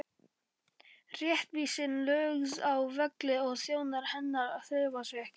Réttvísin lögð að velli og þjónar hennar hreyfa sig ekki!